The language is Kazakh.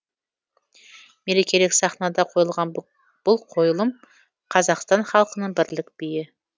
мерекелік сахнада қойылған бұл қойылым қазақстан халқының бірлік биі